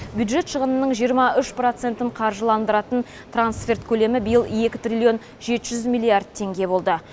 бюджет шығынының жиырма үш процентін қаржыландыратын трансферт көлемі биыл екі триллион жеті жүз миллиард теңге болды